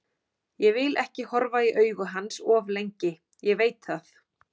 Ég vil ekki horfa í augu hans of lengi, ég veit það.